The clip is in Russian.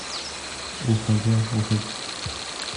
уходя уходи